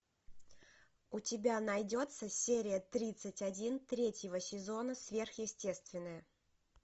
у тебя найдется серия тридцать один третьего сезона сверхъестественное